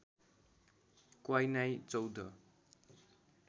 क्वै नाई चौध